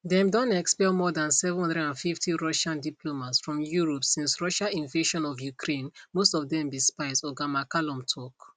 dem don expel more dan 750 russian diplomats from europe since russia invasion of ukraine most of dem be spies oga mccallum tok